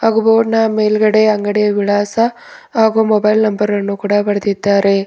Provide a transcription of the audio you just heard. ಹಾಗೂ ಬೋರ್ಡ್ ನ ಮೇಲ್ಗಡೆ ಅಂಗಡಿಯ ವಿಳಾಸ ಹಾಗೂ ಮೊಬೈಲ್ ನಂಬರ್ ಅನ್ನು ಕೂಡ ಬರೆದಿದ್ದಾರೆ.